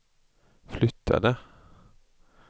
flyttade